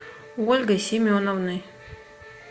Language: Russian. ольгой семеновной